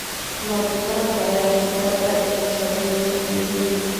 Marti sharafta ayaa khudbad aad u xiiso badan soo jeediyay.